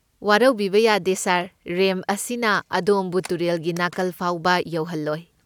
ꯋꯥꯔꯧꯕꯤꯕ ꯌꯥꯗꯦ sir. Ramp ꯑꯁꯤꯅ ꯑꯗꯣꯝꯕꯨ ꯇꯨꯔꯦꯜꯒꯤ ꯅꯥꯀꯜ ꯐꯥꯎꯕ ꯌꯧꯍꯜꯂꯣꯏ꯫